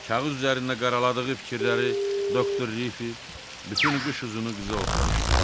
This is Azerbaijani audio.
Kağız üzərinə qaraladığı fikirləri doktor Rifi bütün qış uzunu qıza oxumuşdu.